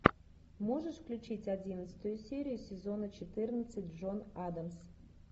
можешь включить одиннадцатую серию сезона четырнадцать джон адамс